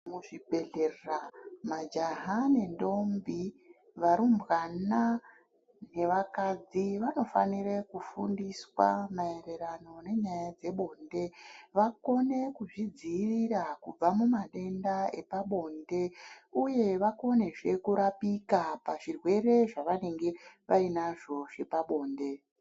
Muzvibhedhlera majaha nendombi, varumbwana nevakadzi vanofanire kufundiswa maererano nenyaya dzebonde vakone kuzvidziirira kubva mumatenda epabinde . Uye vakonezve kurapika pazvirwere zvavanenge vainazvo zvepabonde.